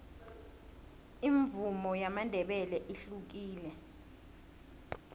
imvumo yamandebele ihlukile